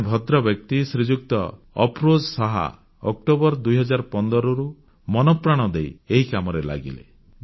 ଜଣେ ଭଦ୍ରବ୍ୟକ୍ତି ଶ୍ରୀଯୁକ୍ତ ଅଫରୋଜ ଶାହ ଅକ୍ଟୋବର 2015ରୁ ମନପ୍ରାଣ ଦେଇ ଏହି କାମରେ ଲାଗିଲେ